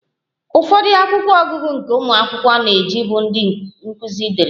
Ụfọdụ akwụkwọ ọgụgụ nke ụmụ akwụkwọ na-eji bụ ndị nkuzi dere